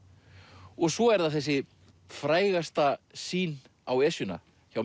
og svo er það þessi frægasta sýn á Esjuna hjá